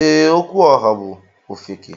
Ee, Okwuoha bú ofeke.